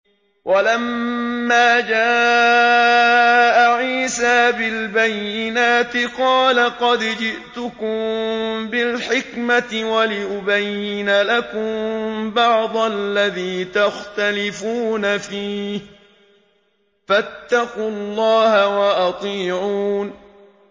وَلَمَّا جَاءَ عِيسَىٰ بِالْبَيِّنَاتِ قَالَ قَدْ جِئْتُكُم بِالْحِكْمَةِ وَلِأُبَيِّنَ لَكُم بَعْضَ الَّذِي تَخْتَلِفُونَ فِيهِ ۖ فَاتَّقُوا اللَّهَ وَأَطِيعُونِ